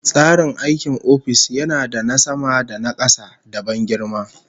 Tsarin aikin ofis yana da na sama da na kasa, da ban girma